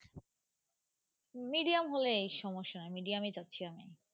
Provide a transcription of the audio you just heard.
Medium হলেই সমস্যা Medium এ যাচ্ছি আমি।